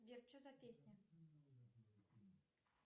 сбер что за песня